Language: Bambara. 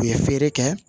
U ye feere kɛ